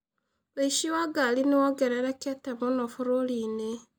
ũici wa ngari nĩ wongererekete mũno bũrũri-inĩ.